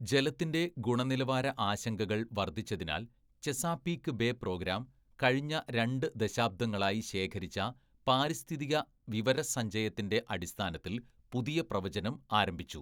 ജലത്തിന്‍റെ ഗുണനിലവാര ആശങ്കകൾ വർദ്ധിച്ചതിനാൽ ചെസാപീക്ക് ബേ പ്രോഗ്രാം കഴിഞ്ഞ രണ്ട് ദശാബ്ദങ്ങളായി ശേഖരിച്ച പാരിസ്ഥിതിക വിവരസഞ്ചയത്തിന്‍റെ അടിസ്ഥാനത്തിൽ പുതിയ പ്രവചനം ആരംഭിച്ചു.